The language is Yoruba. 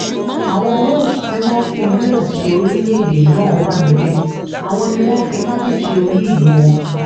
àwọn welsh tí wọ́n fi wales ṣe orílẹ̀-èdè náà wà níbẹ̀ àwọn ni wọ́n fi cárdif ṣe olú ìlú wọn